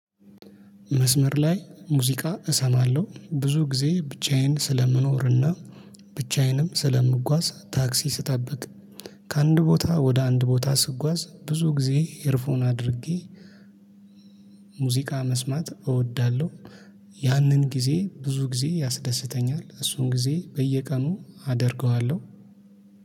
መስመር ላይ ሙዚቃ እሰማለሁ ብዙ ጊዜ ብቻዬን ስለምኖርና ብቻዬንም ስለምጓዝ ታክሲ ስጠብቅ ከአንድ ቦታ ወደ አንድ ቦታ ስጓዝ ብዙ ጊዜ ኤርፎን አድርጌ ሙዚቃ መስማት እወዳለሁ። ያንን ጊዜ ብዙ ጊዜ ያስደስተኛል እሱን ጊዜ በየቀኑ አደርገዋለሁ